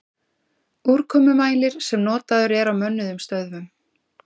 Úrkomumælir sem notaður er á mönnuðum stöðvum.